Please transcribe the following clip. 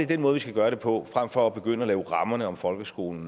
den måde vi skal gøre det på frem for at begynde at lave rammerne om folkeskolen